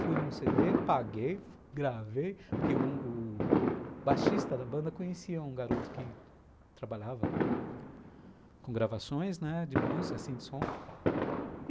Fui num cê dê, paguei, gravei, porque o o baixista da banda conhecia um garoto que trabalhava com com gravações, né, de música, assim, de som.